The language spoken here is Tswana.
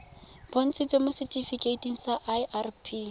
bontshitsweng mo setifikeiting sa irp